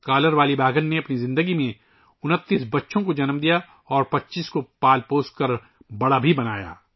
collar والی شیرنی نے اپنی زندگی میں 29 بچوں کو جنم دیا اور 25 کی پرورش کرکے انہیں بڑا کیا